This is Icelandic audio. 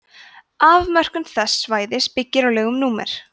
afmörkun þess svæðis byggir á lögum númer